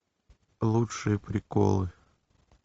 лучшие приколы